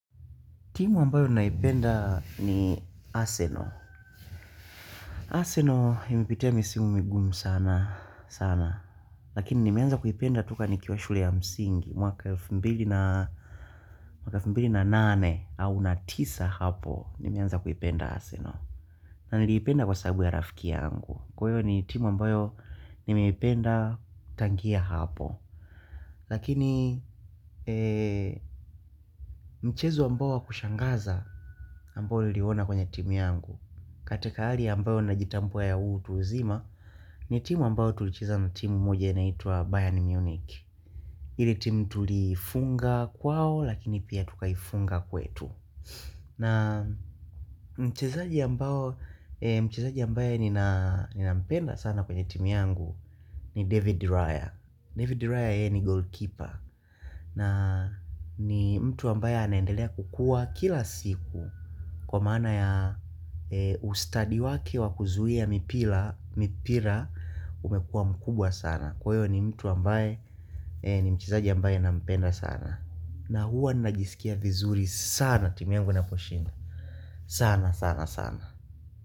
Timu ambayo naipenda ni Arsenal. Asernal imipitia misimu migumu sana sana. Lakini nimeanza kuipenda toka nikiwa shule ya msingi. Mwaka wa elfu mbili na nane au na tisa hapo nimeanza kuipenda Arsenal. Na niliipenda kwa sababu ya rafiki yangu. Kwa hiyo ni timu ambayo nimeipenda tangia hapo. Lakini mchezo ambayo wakushangaza ambayo niliona kwenye timu yangu. Katika ali ambayo na jitambua ya huu utu uzima ni timu ambayo tulicheza na timu moja inaitwa Bayern Munich. Ile timu tuliifunga kwao lakini pia tukaifunga kwetu. Na mchezaji ambao, mchezaji ambaye ninampenda sana kwenye timu yangu ni David Raya. David Raya yeye ni goalkeeper. Na ni mtu ambaye anendelea kukua kila siku Kwa maana ya ustadi wake wakuzuhia mipira umekua mkubwa sana. Kwa hiyo ni mtu ambaye ni mchezaji ambaye nampenda sana. Na huwa ninajisikia vizuri sana timi yangu inaposhinda. Sana sana sana.